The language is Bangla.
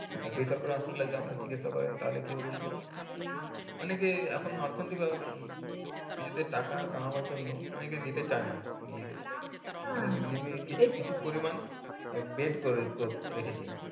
আর বেসরকারি হাসপাতালে আপনি যদি চিকিৎসা করেন তাহলে কি হবে বলুন তো অনেকে এখন অর্থনেতিক নিজেদের টাকা কামাবার জন্য অনেকে দিতে চাইনা আহ bed করে রেখেছে